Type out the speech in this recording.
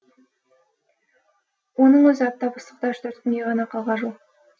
оның өзі аптап ыстықта үш төрт күнге ғана қалғажу